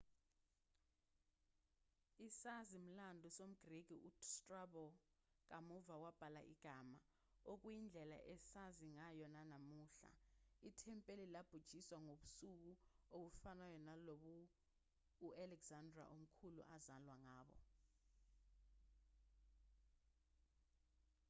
isazi-mlando somgreki ustrabo kamuva wabhala igama okuyindlela esazi ngayo namuhla ithempeli labhujiswa ngobusuku obufanayo lobo u-alexander omkhulu azalwa ngabo